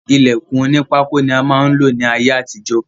Ilèkùn oní pákó ni a máa lò ní ayé àtijó